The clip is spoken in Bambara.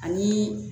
Ani